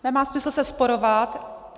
Nemá smysl se sporovat.